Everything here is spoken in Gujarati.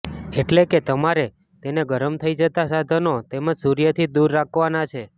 એટલે કે તમારે તેને ગરમ થઈ જતા સાધનો તેમજ સૂર્યથી દૂર રાકવાના છે